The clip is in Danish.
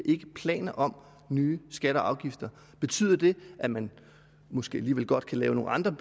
ikke planer om nye skatter og afgifter betyder det at man måske alligevel godt kan lægge nogle andre